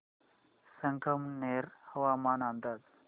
संगमनेर हवामान अंदाज